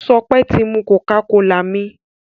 Sope tí mú cocacola mí.